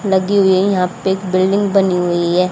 लगी हुई है यहां पे एक बिल्डिंग बनी हुई है।